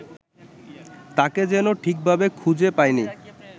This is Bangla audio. তাঁকে যেন ঠিকভাবে খুঁজে পাইনি